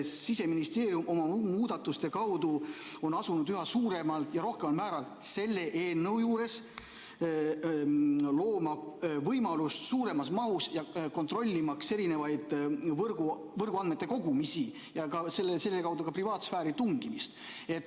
Siseministeerium on oma muudatuste kaudu asunud üha suuremal ja rohkemal määral looma võimalust suuremas mahus kontrollida võrguandmete kogumist ja selle kaudu ka privaatsfääri tungimist.